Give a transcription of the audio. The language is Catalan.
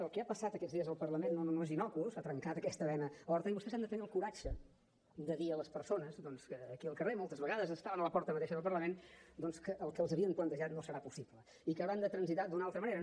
el que ha passat aquests dies al parlament no és innocu s’ha trencat aquesta vena aorta i vostès han de tenir el coratge de dir a les persones doncs que aquí al carrer moltes vegades estaven a la porta mateixa del parlament doncs que el que els havien plantejat no serà possible i que hauran de transitar d’una altra manera